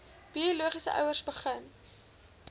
biologiese ouers begin